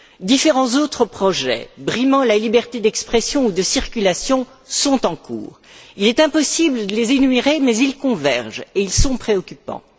Différents autres projets brimant la liberté d'expression ou de circulation sont en cours. Il est impossible de les énumérer mais ils convergent et ils sont préoccupants.